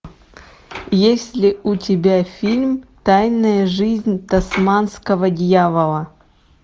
есть ли у тебя фильм тайная жизнь тасманского дьявола